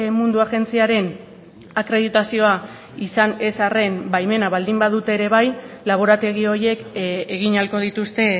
mundua agentziaren akreditazioa izan ez arren baimena baldin badute ere bai laborategi horiek egin ahalko dituzte